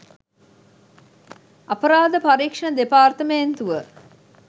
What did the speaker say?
අපරාධ පරීක්‍ෂණ දෙපාර්තමේන්තුව